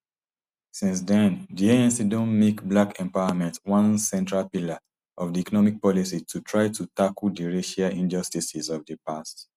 since den di anc don make black empowerment one central pillar of di economic policy to try to tackle di racial injustices of di past